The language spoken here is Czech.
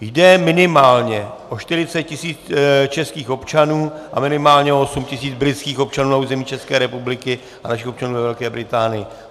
Jde minimálně o 40 tisíc českých občanů a minimálně o 8 tisíc britských občanů na území České republiky a našich občanů ve Velké Británii.